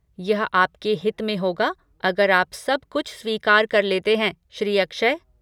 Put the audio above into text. यह आपके हित में होगा अगर आप सब कुछ स्वीकार कर लेते हैं, श्री अक्षय।